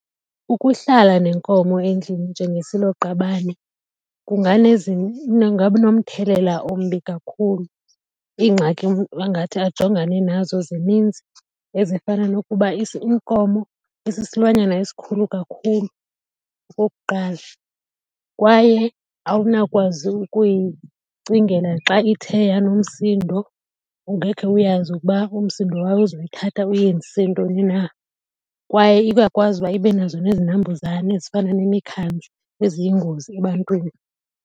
Ukuhlala nenkomo endlini njengesiloqabane kungaba nomthelela ombi kakhulu. Iingxaki angathi ajongane nazo zininzi ezifana nokuba inkomo isisilwanyana esikhulu kakhulu, okokuqala, kwaye awunakwazi ukuyicingela xa ithe yanomsindo, ngekhe uyazi uba umsindo wabo uzoyithatha uyenzisise ntoni na. Kwaye iyakwazi uba ibe nazo nezinambuzane ezifana nemikhandla eziyingozi ebantwini.